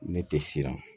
Ne tɛ siran